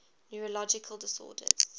neurological disorders